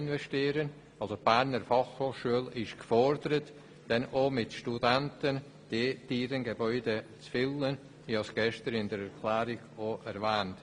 Die Berner Fachhochschule ist dann auch gefordert, diese Gebäude mit Studenten zu füllen.